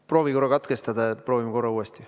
Proovi korra katkestada ja proovime siis uuesti.